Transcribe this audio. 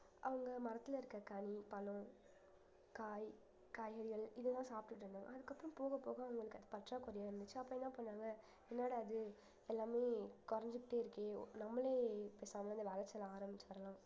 அவங்க மரத்துல இருக்கற கனி, பழம், காய், காய்கறிகள் இதெல்லாம் சாப்பிட்டுட்டு இருந்தோம் ஆனா அதுக்கப்புறம் போக போக அவங்களுக்கு அது பற்றாக்குறையா இருந்துச்சு அப்ப என்ன பண்ணாங்க என்னடா இது எல்லாமே குறைஞ்சுக்கிட்டே இருக்கே நம்மளே பேசாம இந்த வேலை செய்ய ஆரம்பிச்சுரலாம்